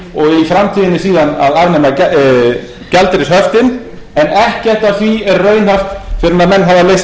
og í framtíðinni síðan að afnema gjaldeyrishöftin en ekkert af því er raunhæft fyrr en menn hafa leyst